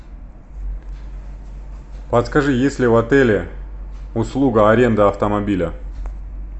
подскажи есть ли в отеле услуга аренда автомобиля